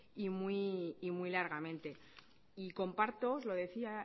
y muy largamente y comparto os lo decía